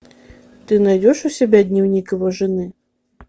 ты найдешь у себя дневник его жены